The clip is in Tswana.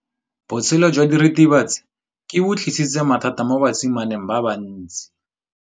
Botshelo jwa diritibatsi ke bo tlisitse mathata mo basimaneng ba bantsi.